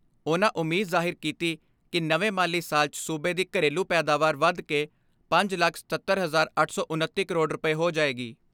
ਉਨ੍ਹਾਂ ਉਮੀਦ ਜ਼ਾਹਿਰ ਕੀਤੀ ਕਿ ਨਵੇਂ ਮਾਲੀ ਸਾਲ 'ਚ ਸੂਬੇ ਦੀ ਘਰੇਲੂ ਪੈਦਾਵਾਰ ਵਧ ਕੇ ਪੰਜ ਲੱਖ ਸਤੱਤਰ ਹਜਾਰ ਅੱਠ ਸੌ ਉਨੱਤੀ ਕਰੋੜ ਰੁਪਏ ਹੋ